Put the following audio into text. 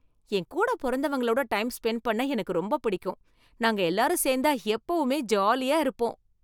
என்கூட பொறந்தவங்களோட time spent பண்ண எனக்கு ரொம்ப பிடிக்கும், நாங்க எல்லாரும் சேர்ந்தா எப்பவுமே ஜாலியா இருப்போம்.